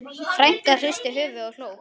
Frænkan hristi höfuðið og hló.